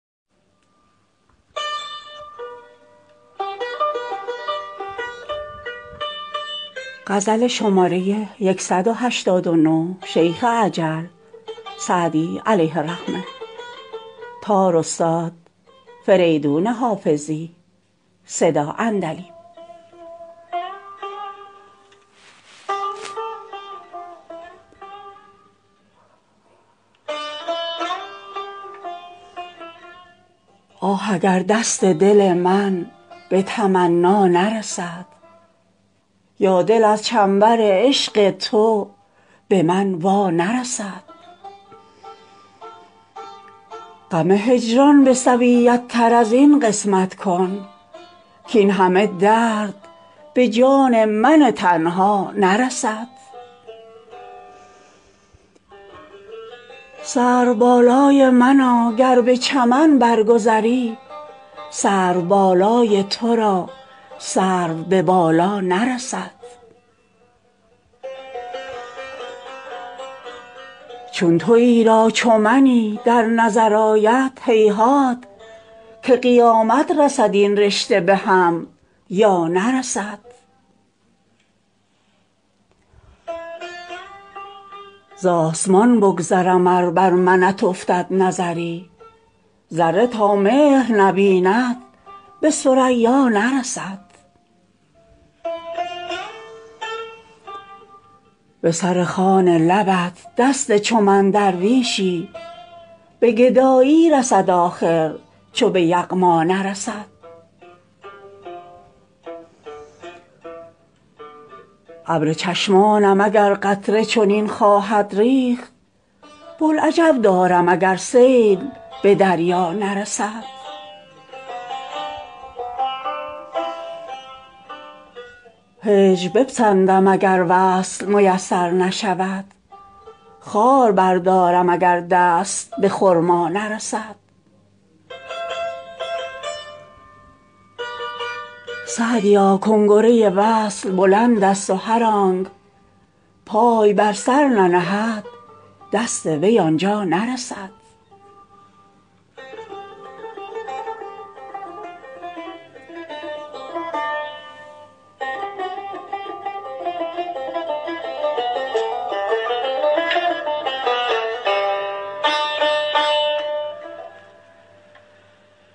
آه اگر دست دل من به تمنا نرسد یا دل از چنبر عشق تو به من وا نرسد غم هجران به سویت تر از این قسمت کن کاین همه درد به جان من تنها نرسد سروبالای منا گر به چمن بر گذری سرو بالای تو را سرو به بالا نرسد چون تویی را چو منی در نظر آید هیهات که قیامت رسد این رشته به هم یا نرسد زآسمان بگذرم ار بر منت افتد نظری ذره تا مهر نبیند به ثریا نرسد بر سر خوان لبت دست چو من درویشی به گدایی رسد آخر چو به یغما نرسد ابر چشمانم اگر قطره چنین خواهد ریخت بوالعجب دارم اگر سیل به دریا نرسد هجر بپسندم اگر وصل میسر نشود خار بردارم اگر دست به خرما نرسد سعدیا کنگره وصل بلندست و هر آنک پای بر سر ننهد دست وی آن جا نرسد